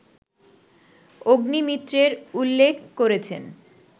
অগ্নিমিত্রের উল্লেখ করেছেন